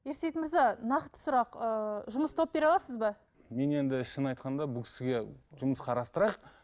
ерсейіт мырза нақты сұрақ ыыы жұмыс тауып бере аласыз ба мен енді шынын айтқанда бұл кісіге жұмыс қарастырайық